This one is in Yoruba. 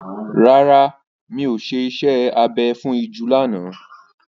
Rárá, mi ò ṣe iṣẹ́ abẹ fún ìju lánàá.